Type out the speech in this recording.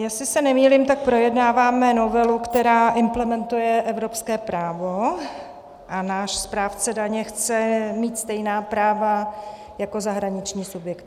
Jestli se nemýlím, tak projednáváme novelu, která implementuje evropské právo, a náš správce daně chce mít stejná práva jako zahraniční subjekty.